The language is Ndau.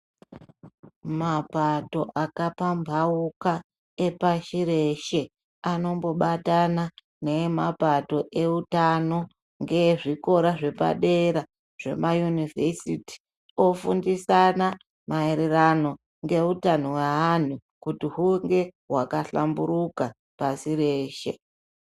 Mapato akapamhauka pashi reshe anombobatana nemapato eutano ngezvikora zvepadera-dera ofundisana maererano ngeutano hweanhu kuti hunge hwakahlamburuka pasi reshe .